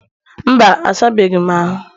mba, a sabeghị m ahụ